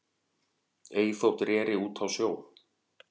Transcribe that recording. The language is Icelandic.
Ei þótt reri út á sjó